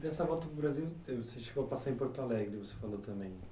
Dessa volta para o Brasil, você você chegou a passar em Porto Alegre, você falou também.